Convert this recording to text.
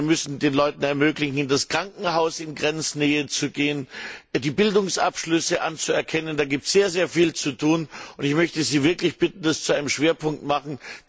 Wir müssen den Leuten ermöglichen, in das Krankenhaus in Grenznähe zu gehen, die Bildungsabschlüsse anzuerkennen da gibt es sehr, sehr viel zu tun, und ich möchte Sie wirklich bitten, das zu einem Schwerpunkt zu machen.